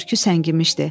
Bürküsü səngimişdi.